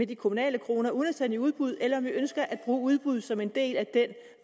de kommunale kroner uden at sende i udbud eller om vi ønsker at bruge udbuddet som en del af den